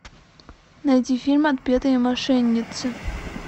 найди фильм отпетые мошенницы